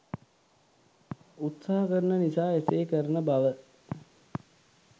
උත්සාහ කරන නිසා එසේ කරන බව